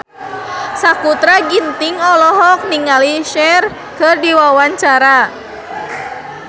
Sakutra Ginting olohok ningali Cher keur diwawancara